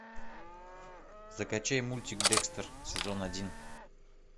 закачай мультик декстер сезон один